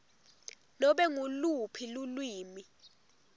nobe nguluphi lulwimi